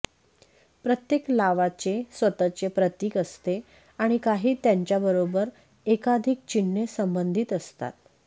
प्रत्येक लावा चे स्वतःचे प्रतीक असते आणि काही त्यांच्याबरोबर एकाधिक चिन्हे संबंधित असतात